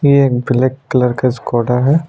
ये एक black colour का स्कॉडा है।